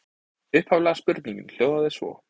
Upphaflega spurningin hljóðaði svo: